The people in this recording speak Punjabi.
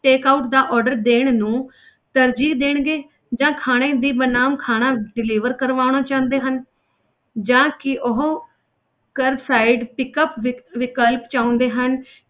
Take out ਦਾ order ਦੇਣ ਨੂੰ ਤਰਜੀਹ ਦੇਣਗੇ ਜਾਂ ਖਾਣੇ ਦੀ ਬਨਾਮ ਖਾਣਾ deliver ਕਰਵਾਉਣਾ ਚਾਹੁੰਦੇ ਹਨ ਜਾਂ ਕੀ ਉਹ curbside pickup ਵਿਕ~ ਵਿਕਲਪ ਚਾਹੁੰਦੇ ਹਨ,